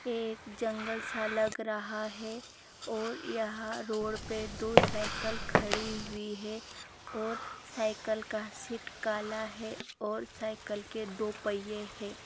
यह एक जंगल सा लग रहा है और यहां रोड पे दो साइकल खड़ी हुए हैं। और साइकल का सीट काला है और साइकल के दो पहिए है।